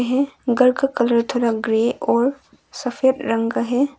है घर का कलर थोड़ा ग्रे और सफेद रंग का है।